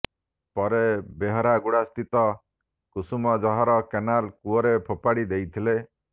ପରେ ବେହେରାଗୁଡା ସ୍ଥିତ କୁସୁମଜହର କେନାଲ କୂଅରେ ଫୋପାଡ଼ି ଦେଇଥିଲେ